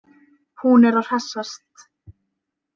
Hún er að hressast.